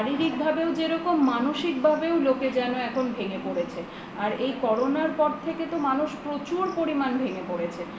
শারীরিক ভাবে যেরকম মানসিক ভাবেও লোকে যেন একদম ভেঙ্গে পড়েছে আর এই করোনার পর থেকে তো মানুষ প্রচুর পরিমান ভেঙ্গে পড়েছে